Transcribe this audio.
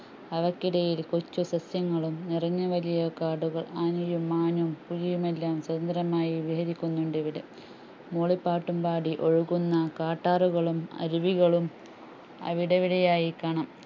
അവക്കിടയിൽ കൊച്ചു സസ്യങ്ങളും നിറഞ്ഞുവല്യ കാടുകൾ ആനയും മാനും പുലിയുമെല്ലാം സ്വതന്ത്രമായി നിലനിൽക്കുന്നുണ്ടിവിടെ മൂളിപ്പാട്ടുംപാടി ഒഴുകുന്ന കാട്ടാറുകളും അരുവികളും അവിടെയിവിടെയായി കാണാം